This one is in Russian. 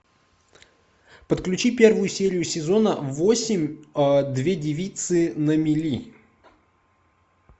подключи первую серию сезона восемь две девицы на мели